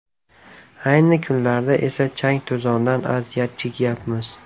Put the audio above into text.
Ayni kunlarda esa chang to‘zondan aziyat chekyapmiz”.